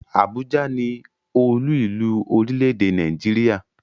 Abuja ni oluilu orile-ede Naijiria